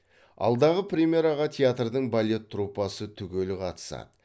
алдағы премьераға театрдың балет труппасы түгел қатысады